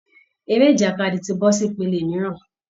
Eré ìjàkadì ti bọ́ sí ìpele mìíràn